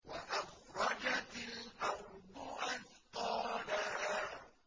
وَأَخْرَجَتِ الْأَرْضُ أَثْقَالَهَا